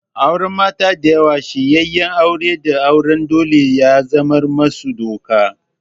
Auren mata da yawa, shiryenyen aure da auren dole ya zamar musu doka.